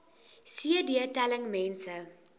cd telling mense